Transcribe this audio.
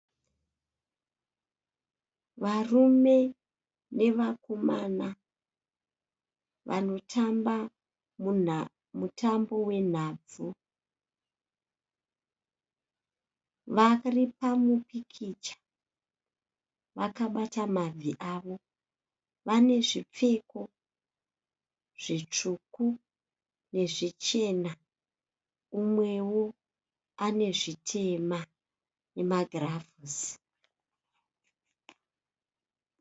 Varume nevakomana vanotamba mutambo wenhabvu vari pamupikicha vakabata mabvi avo vane zvipfeko zvitsvuku nezvichena mumwewo ane zvitema nemagirazi.